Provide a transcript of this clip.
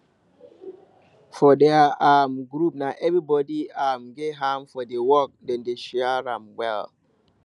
for their um group na everybody um get hand for the work dem dey share am well